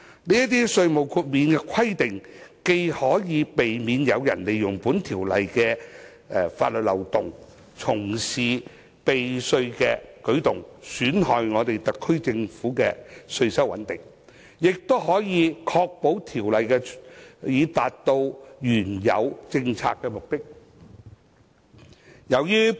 這些稅務豁免的規定既可避免有人利用《條例草案》的法律漏洞，從事避稅的舉動，損害香港特區政府的稅收穩定，亦可確保《條例草案》達到原有政策的目的。